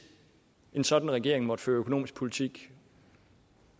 en sådan regering måtte føre økonomisk politik